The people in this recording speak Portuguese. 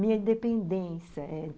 Minha independência, é.